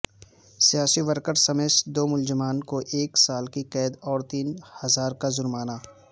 سیا سی ورکر سمیت دو ملزمان کوایک سال کی قید اور تین ہزارکا جرمانہ